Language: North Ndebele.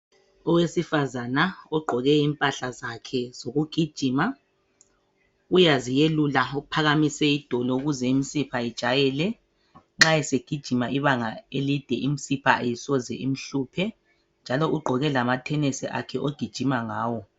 Owesifazana ogqoke impahla zakhe zokugijima uyaziyelula uphakamise idolo ukuze imsipha ijayele nxa segijima ibanga elide imsipha ayisoze imhluphe njalo ugqoke lama thenesi akhe ogijima ngawo.